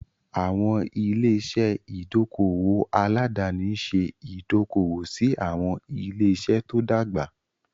Àwọn ilé-iṣẹ́ ìdókòwò aládàáni ń ṣe ìdókòwò sí àwọn ilé-iṣẹ́ tó dàgbà.